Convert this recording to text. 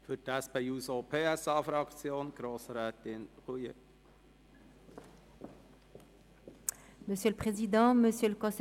Für die SP-JUSO-PSA-Fraktion spricht Grossrätin Roulet.